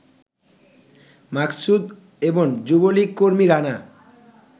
মাকসুদ এবং যুবলীগকর্মী রানা